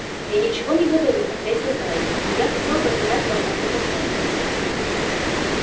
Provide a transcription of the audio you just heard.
я ничего не говорю ответил мэллоу но я хотел бы задать вам один вопрос